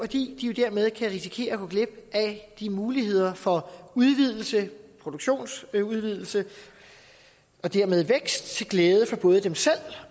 de jo dermed kan risikere at gå glip af de muligheder for udvidelse en produktionsudvidelse og dermed vækst til glæde for både dem selv